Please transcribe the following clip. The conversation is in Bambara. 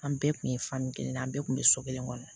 An bɛɛ kun ye fa min ye an bɛɛ tun bɛ so kelen kɔnɔ